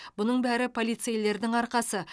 бұның бәрі полицейлердің арқасы